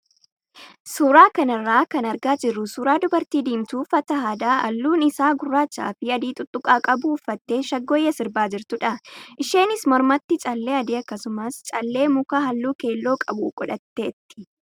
Suuraa kanarraa kan argaa jirru suuraa dubartii diimtuu uffata aadaa halluun isaa gurraachaa fi adii tuttuqaa qabu uffattee shaggooyyee sirbaa jirtudha. Isheenis mormatti callee adii akkasumas callee mukaa halluu keelloo qabu godhatteetti.